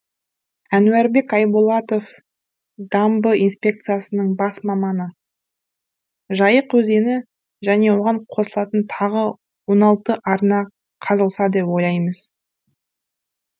әнуарбек айболатов дамбы инспекциясының бас маманы жайық өзені және оған қосылатын тағы он алты арна қазылса деп ойлаймыз